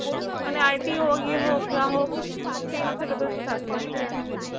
মানে IT হোক এয়ে হোক যা হোক Same Syllabus থাকে